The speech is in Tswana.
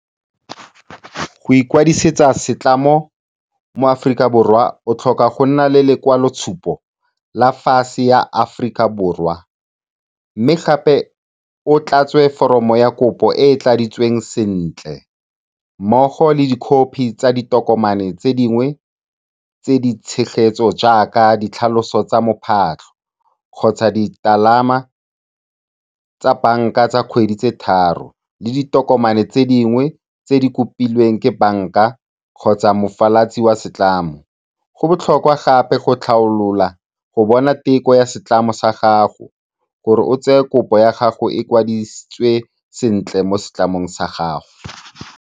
Go ikwadisetsa setlamo mo Aforika Borwa, o tlhoka go nna le lekwalotshupo la ya Aforika Borwa mme gape o tlatse foromo ya kopo e e tladitsweng sentle, mmogo le dikhophi tsa ditokomane tse dingwe tse di tshegetso jaaka ditlhaloso tsa mophatlho kgotsa ditalama tsa banka tsa kgwedi tse tharo, le ditokomane tse dingwe tse di kopilweng ke banka kgotsa mofalatsi wa setlamo. Go botlhokwa gape go tlhaolola go bona teko ya setlamo sa gago gore o tseye kopo ya gago e kwadisitswe sentle mo setlamong sa gago.